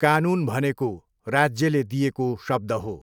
कानुन भनेको राज्यले दिएको शब्द हो।